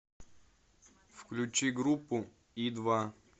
включи группу и два